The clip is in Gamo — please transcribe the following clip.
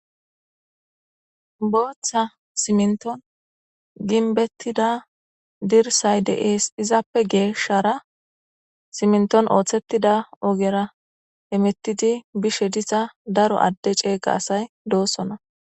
booththa simnton ginbettida dirsay deees izappe geeshshara simnton ooththettida ogera emettidi bishe diza daro adde ceega asay doossona